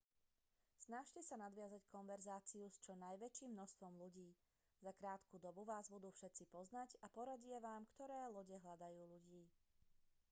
snažte sa nadviazať konverzáciu s čo najväčším množstvom ľudí za krátku dobu vás budú všetci poznať a poradia vám ktoré lode hľadajú ľudí